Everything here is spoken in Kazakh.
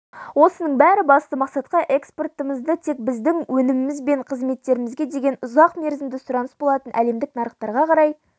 осының бәрі басты мақсатқа экспортымызды тек біздің өніміміз бен қызметтерімізге деген ұзақ мерзімді сұраныс болатын әлемдік нарықтарға қарай